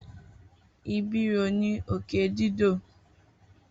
Ibiro ni oke dido.